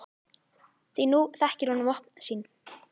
Því nú þekkir hún vopn sín.